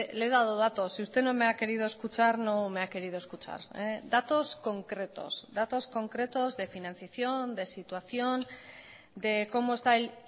le he dado datos si usted no me ha querido escuchar no me ha querido escuchar datos concretos datos concretos de financiación de situación de como está el